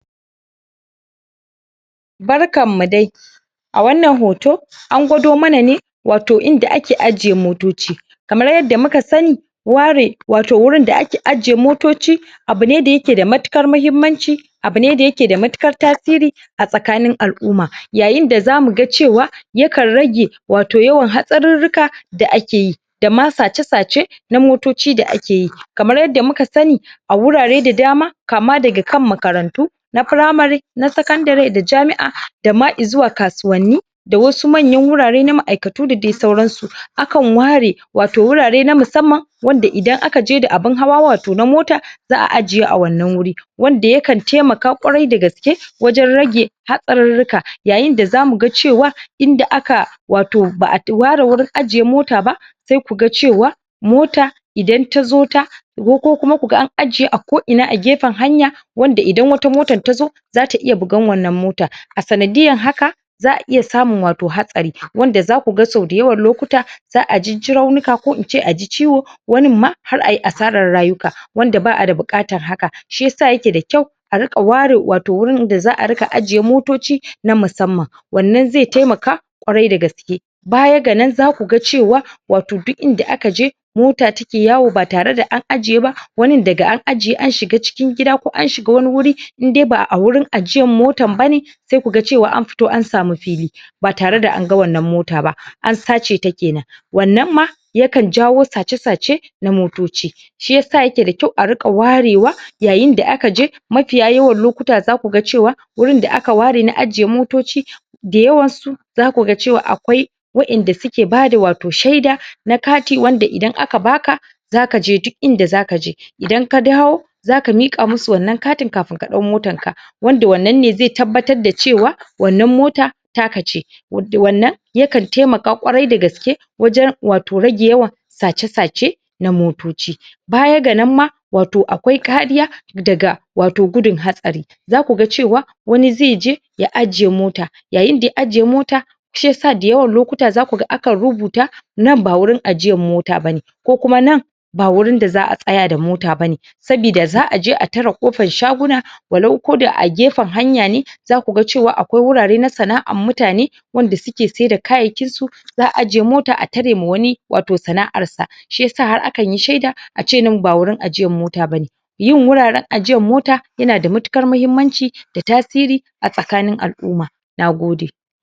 Barkan mu dai! A wannan hoto, an gwado mana ne wato inda ake ajiye motoci. Kamar yadda muka sani, ware wato wurin da ake aje motoci. Abu ne da ya ke da matuƙa muhimmanci abu ne da ya ke da matuƙar tasiri a tsakin al'umma. Yayin da za mu ga cewa yakan rage wato yawan hatsarurruka da ake yi, da ma sace-sace na motoci da ake yi. Kamar yadda kuma sani a wurare da dama, kama daga kan makarantu na primary, na sakandare da jami'a da ma izuwa kasuwanni, da wasu manya wurare na ma'aikatu da dai sauran su. Akan ware wato wurare na musamman wanda idan aka je da abun hawa wato na mota za'a ajiye a wannan wuri. Wanda yakan taimaka ƙwarai da gaske wajen rage hatsarurruka. Yayin da za mu ga cewa, inda aka wato ba'a ware wurin aje mota ba, sai ku ga cewa mota idan ta zo ta go ko kuma ku ga an ajiye a ko'ina a kan hanya, wanda idan wata motan ta zo za ta iya bugan wannan mota. A sanadiyan haka a iya samun wato hatsari. Wanda za ku ga sau da yawan lokuta ajijji raunuka, ko ince aji ciwo wanin ma, har ayi asarar rayuka. Wanda ba'a da buƙatar haka. Shi yasa ya ke da kyau a riƙa ware wato wurin da za'ariƙa ajiye motoci na musamman. Wannan zai taimaka ƙwarai da gaske. Baya ga nan za ku ga cewa wato duk inda aka je, mota take yawo ba tare da an ajiye ba wanin daga an ajiye an shiga cikin gida ko an shiga wani wuri, indai ba'a wurin ajiyar motan bane, sai ku ga cewa an fito an samu fili, ba tare da an ga wannan mota ba, an sace ta kenan. Wannan ma yakan jawo sace-sace na motoci. Shi yasa ya ke da kyau a riƙa warewa yayin da aka je. Mafiya yawan lokuta za ku ga cewa wurin da aka ware na ajiye motoci, da yawan su, za ku ga cewa akwai waƴanda suke bada wato shaida na katin wanda idan aka baka, za ka je duk inda za ka je. Idan ka dawo za ka miƙa musu wato wannan katin kafin ɗau motan ka. Wanda wannan zai tabbatar da cewa wannan mota ta ka ce. Wannan yakan taimaka ƙwarai da gaske wajen wato rage yawan sace-sace na motoci. Baya ga nan ma, wato akwai kariya daga wato gudan hatsari. Za ku ga cewa wani zai je ya ajiye mota, yayin da ya ajiye mota shi yasa da yawan lokuta za ku ga an rubuta nan ba wurin ajiyan mota bane. Ko kuma nan ba wurin da za'a tsaya da mota bane. Sabida za'a je a tare ƙofan shaguna walau koda agefen hanya ne za ku ga cewa akwai wurare na sana'ar mutane wanda suke sai da kayayyakin su, za'a ajiye mota a tare ma wani wato sana'ar sa. Shi yasa har akan yi shaida, ace nan ba wurin ajiyar mota bane. Yin wuraren ajiyar mota ya na da matuƙar muhimmanci da tasiri a tsakanin al'umma. Nagode!